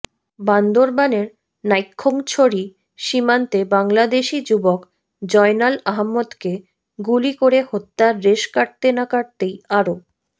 বান্দরবানের নাইক্ষ্যংছড়ি সীমান্তে বাংলাদেশি যুবক জয়নাল আহাম্মদকে গুলি করে হত্যার রেশ কাটতে না কাটতেই আরও